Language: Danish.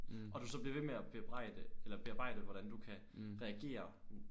Og du så bliver ved med at bebrejde eller bearbejde hvordan du kan reagere